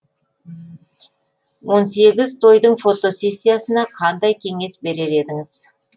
он сегіз тойдың фотосессиясына қандай кеңес берер едіңіз